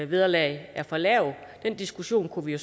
vederlag er for lavt den diskussion kunne vi